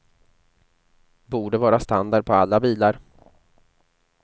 Borde vara standard på alla bilar.